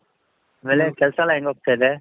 ಆಮೇಲೆ ಕೆಲ್ಸ ಎಲ್ಲಾ ಹೆಂಗ್ ಹೋಗ್ತಾ ಇದೆ?